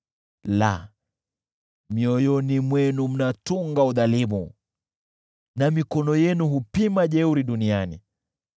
La, mioyoni mwenu mnatunga udhalimu, na mikono yenu hupima jeuri duniani.